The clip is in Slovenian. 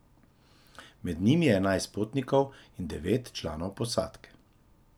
Med njimi je enajst potnikov in devet članov posadke.